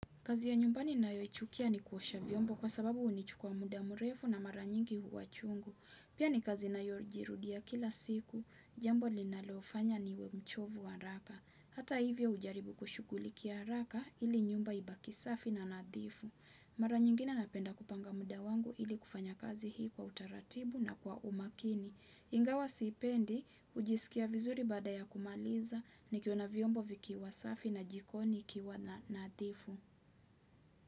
Kazi ya nyumbani nayo chukia ni kuosha vyombo kwa sababu unichukua muda mrefu na mara nyingi huwa chungu. Pia ni kazi nayo jirudia kila siku, jambo linalofanya ni we mchovu wa haraka. Hata hivyo ujaribu kushukuliki ya haraka ili nyumba ibaki safi na nadhifu. Mara nyingi na napenda kupanga muda wangu ili kufanya kazi hii kwa utaratibu na kwa umakini. Ingawa sipendi, ujisikia vizuri bada ya kumaliza, nikiona vyombo vikiwa safi na jikoni kiwa na nadhifu.